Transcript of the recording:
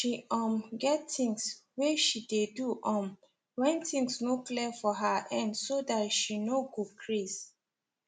she um get things way she dey do um when things no clear for her end so that she no go craze